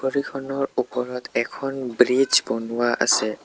নদীখনৰ ওপৰত এখন ব্ৰীজ বনোৱা আছে।